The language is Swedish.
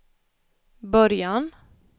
början